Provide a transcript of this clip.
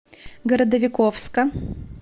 городовиковска